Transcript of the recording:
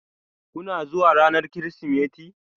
Kuna zuwa ranar Kirsimeti?